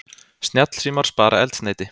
Snjallsímar spara eldsneyti